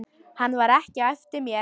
Hann var ekki á eftir mér.